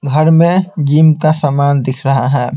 घर में जिम का सामान दिख रहा है।